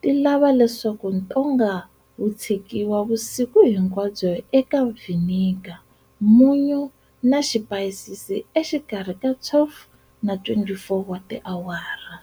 ti lava leswaku ntonga wu tshikiwa vusiku hinkwabyo eka vinegar, munyu, na xipayisisi, exikarhi ka 12 na 24 wa tiawara